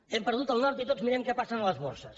hem perdut el nord i tots mirem què passa en les borses